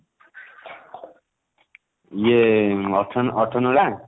ଇଏ ଅଠର ଅଠର ନଳା?